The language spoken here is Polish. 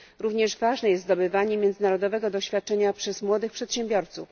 Również ważne jest zdobywanie międzynarodowego doświadczenia przez młodych przedsiębiorców.